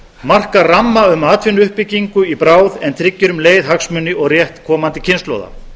marka ramma um atvinnuuppbyggingu í bráð en tryggir um leið hagsmuni og rétt komandi kynslóða